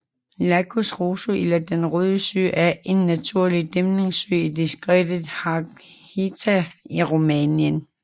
Lacul Roșu eller den Røde Sø er en naturlig dæmningssø i distriktet Harghita i Rumænien